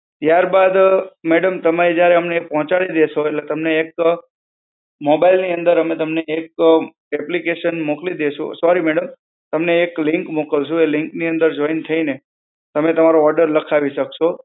ત્યારબાદ, મેડમ તમે જ્યારે એ પહોંચાડી દેશો એટલે તમને એક mobile ની અંદર અમે તમને એક application મોકલી દઈશું. sorry madam તમને એક link મોકલશુ. એ link ની અંદર જોઈન થઈને તમે તમારો order લખાવી શકશો.